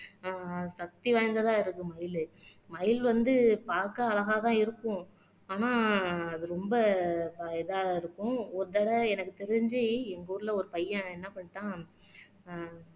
ஆஹ் சக்தி வாய்ந்ததா இருக்கு மயில் மயில் வந்து பார்க்க அழகா தான் இருக்கும் ஆனா அது ரொம்ப இதா இருக்கும் ஒரு தடவை எனக்கு தெரிஞ்சு எங்க ஊர்ல ஒரு பையன் என்ன பண்ணிட்டான்